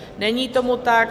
Není tomu tak.